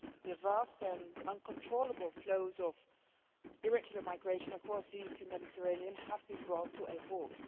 The vast and uncontrollable flows of irregular migration across the Eastern Mediterranean have been brought to a halt.